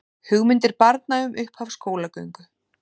Hugmyndir barna um upphaf skólagöngu